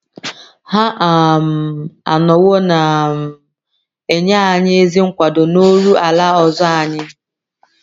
Ha um anọwo na um - enye anyị ezi nkwado n’oru ala ọzọ anyị.